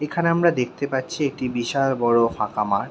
এখানে আমরা দেখতে পাচ্ছি একটি বিশাল বড়ো ফাঁকা মাঠ।